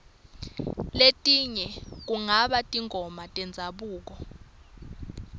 letinye kungaba tingoma tendzabuko